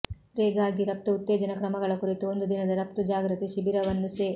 ಿಗಾಗಿ ರಘ್ತು ಉತ್ತೇಜನಾ ಕ್ರಮಗಳ ಕುರಿತು ಒಂದು ದಿನದ ರಘ್ತು ಜಾಗೃತಿ ಶಿಬೀರವನ್ನು ಸೆ